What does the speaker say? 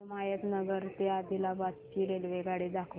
हिमायतनगर ते आदिलाबाद ची रेल्वेगाडी दाखवा